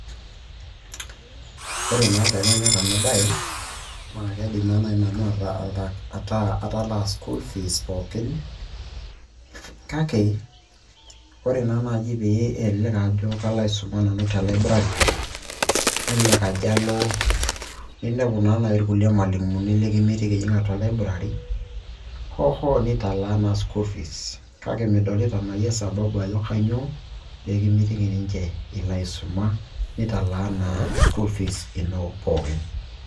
Ore naa peemanyorr ena bae naa kaidim naai naa nanu ataa atalaa school fees pookin, kake ore naa naji pee elelek ajo kalo aisuma nanu te Library, nelelek ajo alo ninepu naa naji kulie malimuni likimitiki ijing' atua Library hoohoo nitalaa naa School fees kake midolito naa yie sababu ajo kainyoo peekimitiki ninche ilo aisuma nitalaa naa school fees ino pooki.